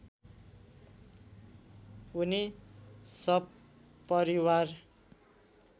उनी सपरिवार